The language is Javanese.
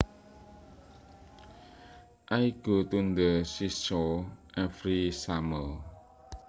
I go to the seashore every summer